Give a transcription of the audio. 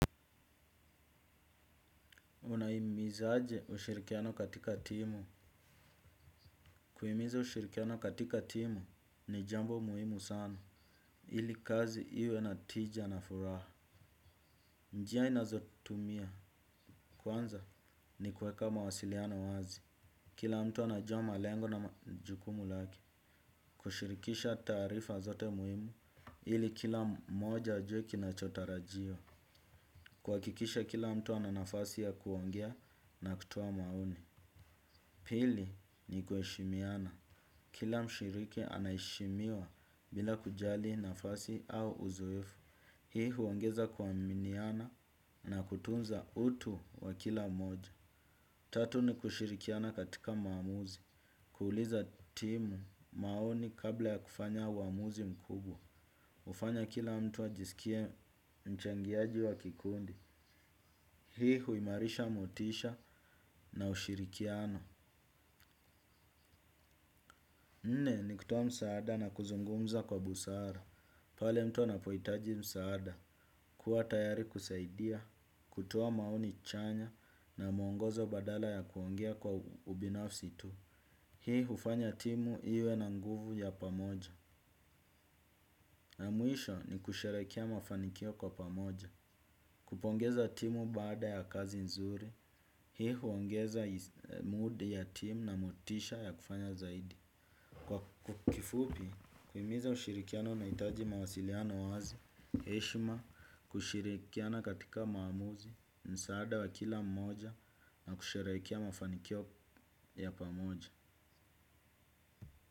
Unahimizaje ushirikiano katika timu. Kuhimiza ushirikiano katika timu ni jambo muhimu sana ili kazi iwe na tija na furaha. Njia nazotumia kwanza ni kuweka mawasiliano wazi. Kila mtu anajua malengo na majukumu lake. Kushirikisha taarifa zote muhimu ili kila mmoja ajue kinachotarajiwa. Kuhakikisha kila mtu ana nafasi ya kuongea na kutuoa maoni. Pili ni kuheshimiana. Kila mshiriki anaheshimiwa bila kujali nafasi au uzoefu. Hii huongeza kuaminiana na kutunza utu wa kila moja. Tatu ni kushirikiana katika maamuzi. Kuuliza timu maoni kabla ya kufanya uamuzi mkubwa. Hufanya kila mtu ajisikie mchangiaji wa kikundi. Hii huimarisha motisha na ushirikiana. Nne ni kutoa msaada na kuzungumza kwa busara. Pale mtu anapohitaji msaada. Kuwa tayari kusaidia, kutoa maoni chanya na muongozo badala ya kuongea kwa ubinafsi tu. Hii hufanya timu iwe na nguvu ya pamoja. Mwisho ni kusherehekea mafanikio kwa pamoja. Kupongeza timu baada ya kazi nzuri. Hii huongeza mood ya timu na motisha ya kufanya zaidi. Kwa kifupi, huhimiza ushirikiano unahitaji mawasiliano wazi, heshima, kushirikiana katika maamuzi, msaada wa kila mmoja na kusherehekea mafanikio ya pamoja.